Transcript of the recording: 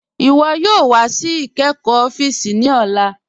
Iwọ yoo wà sí ìkẹ́kọ́ òfíìsì ní ọ̀là.